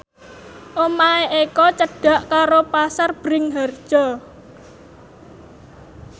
omahe Eko cedhak karo Pasar Bringharjo